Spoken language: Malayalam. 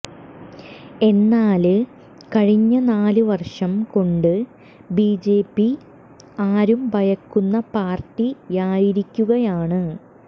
എന്നാല് കഴിഞ്ഞ നാല് വര്ഷം കൊണ്ട് ബിജെപി ആരും ഭയക്കുന്ന പാര്ട്ടിയായിരിക്കുകയാണ്